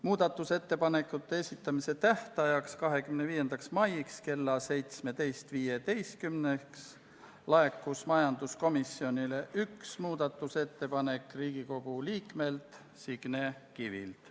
Muudatusettepanekute esitamise tähtajaks, 25. maiks kella 17.15-ks laekus majanduskomisjonile üks muudatusettepanek Riigikogu liikmelt Signe Kivilt.